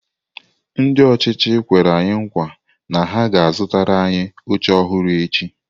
Ndị ọchịchị kwere nkwa na ha ga-azụtara anyị oche ọhụrụ echi.